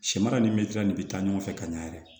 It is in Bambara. Sɛmara ni mitilan de bɛ taa ɲɔgɔn fɛ ka ɲa yɛrɛ